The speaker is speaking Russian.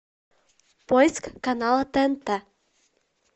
поиск канала тнт